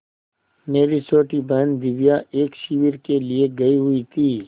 मेरी छोटी बहन दिव्या एक शिविर के लिए गयी हुई थी